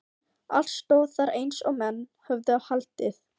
Allt stóð þar eins og menn höfðu haldið.